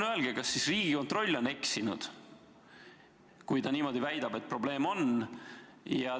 Kas siis Riigikontroll on eksinud, kui ta väidab, et probleem on?